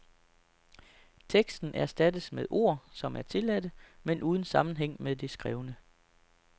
Teksten erstattes med ord, som er tilladte, men uden sammenhæng med det skrevne.